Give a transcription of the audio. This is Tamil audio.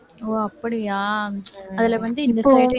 ஓ அப்படியா அதில வந்து